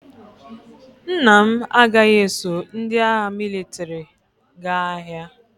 Nna m agaghị eso ndị agha mịlịtrị gaa agha.